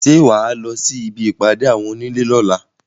Ṣé wà á lọ sí ibi ìpàdé àwọn onílé lọ́la?